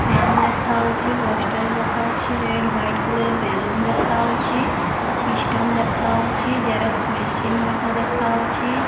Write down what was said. Fan ଦେଖାଉଛି poster ଦେଖାଉଛି red white colour balloon ଦେଖାଉଛି ସିଷ୍ଟମ୍ ଦେଖାଉଛି ଜେରକ୍ସ ମେସିନ୍ ମଧ୍ୟ ଦେଖାଉଛି।